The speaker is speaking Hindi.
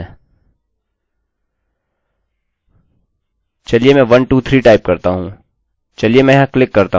यह प्रमाणित करता है कि यह सभी ओर किया गया है और post वेरिएबल में संग्रहीत किया गया है